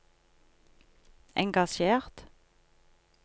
engasjert